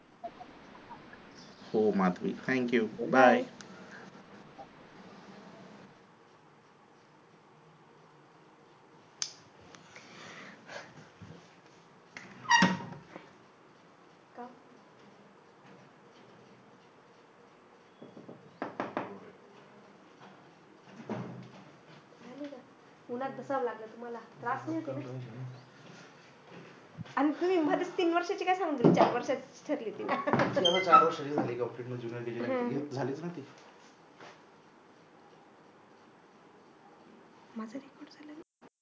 हो माधवी bye